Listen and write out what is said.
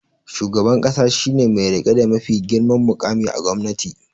Shugaban ƙasa shi ne mai riƙe da mafi girman muƙami a gwamnati